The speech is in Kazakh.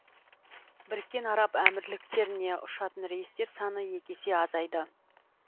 біріккен араб әмірліктеріне ұшатын рейстер саны екі есе азайды